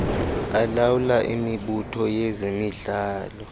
alawula imibutho yezemidlalo